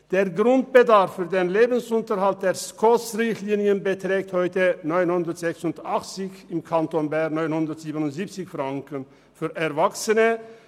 Der Grundbedarf für den Lebensunterhalt beträgt heute gemäss den SKOS-Richtlinien 986 Franken und im Kanton Bern 977 Franken für Erwachsene.